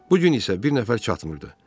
Bu gün isə bir nəfər çatmırdı.